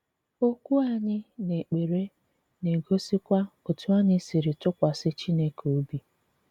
Okwú anyị n’èkpere na-egosikwa otú anyị siri tụkwasị Chineke óbị.